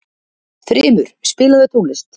Þrymur, spilaðu tónlist.